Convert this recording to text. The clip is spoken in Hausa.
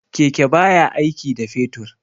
Keke baya aiki da fetur.